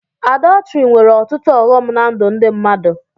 Àdọtrị nwere ọtụtụ ọghọm ná ndụ ndị mmadụ